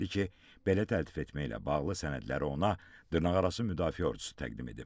İfadə verdi ki, belə təltif etməklə bağlı sənədlər ona dırnaqarası müdafiə ordusu təqdim edib.